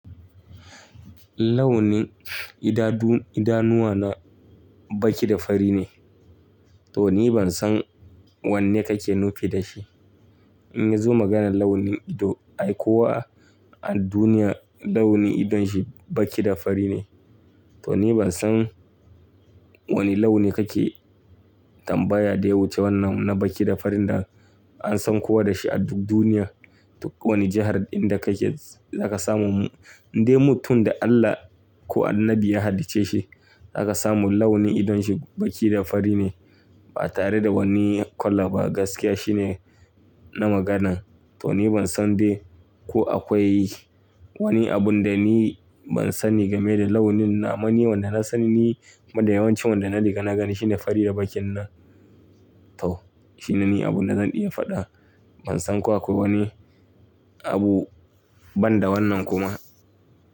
Launin idanuwa na baki da fari ne. To ni ban san wanne kake nufi da shi. In ya zo maganar launi ido, ai kowa a duniya launin idon shi baki da fari ne. To ni ban san wani launi kake tambaya da yawuce wannan na baki da farin da an san kowa da shi a duk duniya, duk wani jihar inda kake zaka samu. Indai mutum da Allah ko annabi ya halicce shi, zaka samu launi idon shi baki da fari ne ba tare da wani kala ba. Gaskiya shine na maganan. To ni ban san dai ko akwai wani abun da ni ban sani game da launin naman Ni wanda na sani ne, kuma da yawancin wanda na riga na gani shine fari da bakin na. To shine ni abun da zan iya faɗa. Ban san ko akwai wani abu ban da wannan kuma.